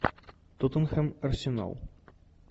тоттенхэм арсенал